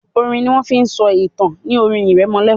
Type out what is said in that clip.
orin ní wón fín so ìtàn ní orin iremolekun